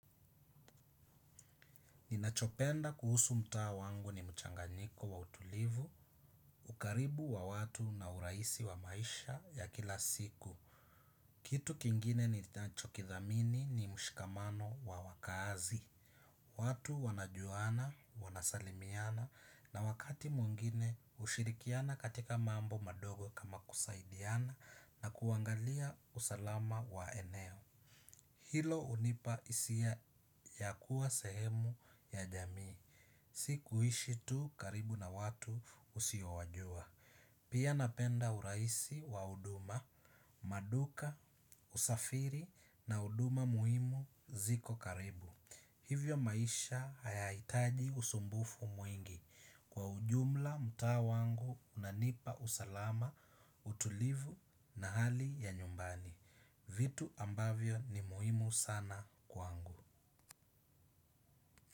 Ninachopenda kuhusu mtaa wangu ni mchanganyiko wa utulivu, ukaribu wa watu na uraisi wa maisha ya kila siku. Kitu kingine nitachokithamini ni mshikamano wa wakaazi. Watu wanajuana, wanasalimiana na wakati mwingine hushirikiana katika mambo madogo kama kusaidiana na kuangalia usalama wa eneo. Hilo hunipa isia ya kuwa sehemu ya jamii. Si kuishi tu karibu na watu usiowajua. Pia napenda uraisi wa huduma, maduka, usafiri na huduma muhimu ziko karibu. Hivyo maisha hayahitaji usumbufu mwingi kwa ujumla mtaa wangu unanipa usalama, utulivu na hali ya nyumbani. Vitu ambavyo ni muhimu sana kwangu.